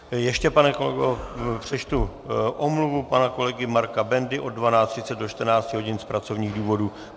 Ještě, pane kolego, přečtu omluvu pana kolegy Marka Bendy od 12.30 do 14 hodin z pracovních důvodů.